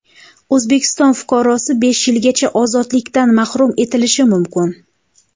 O‘zbekiston fuqarosi besh yilgacha ozodlikdan mahrum etilishi mumkin.